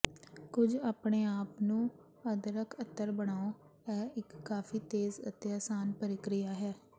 ਕੁਝ ਆਪਣੇ ਆਪ ਨੂੰ ਅਦਰਕ ਅਤਰ ਬਣਾਉ ਇਹ ਇੱਕ ਕਾਫ਼ੀ ਤੇਜ਼ ਅਤੇ ਆਸਾਨ ਪ੍ਰਕਿਰਿਆ ਹੈ